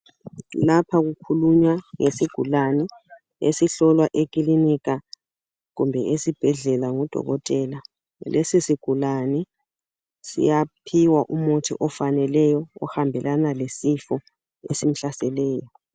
Lapha kukhulunywa ngesigulane, esihlolwa ekilinika, kumbe esibhedlela, ngudokotela. Lesisigulane, siyaphiwa umuthi ofaneleyo, ohambelana lesifo esimhlaseleyo.